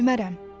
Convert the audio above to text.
Ölmərəm.